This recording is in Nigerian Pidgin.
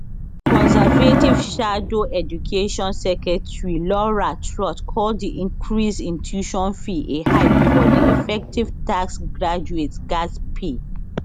conservative shadow education secretary laura trott call di increase in tuition fee a hike for di effective tax graduates gatz pay